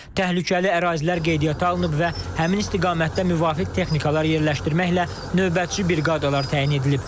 Təhlükəli ərazilər qeydiyyata alınıb və həmin istiqamətdə müvafiq texnikalar yerləşdirməklə növbətçi briqadalar təyin edilib.